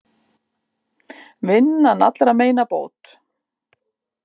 Vinnan allra meina bót.